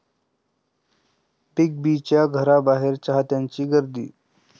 big बींच्या घराबाहेर चाहत्यांची गर्दी